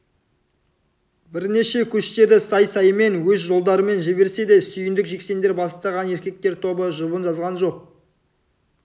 бірнеше көштерді сай-саймен өз жолдарымен жіберсе де сүйіндік жексендер бастаған еркектер тобы жұбын жазған жоқ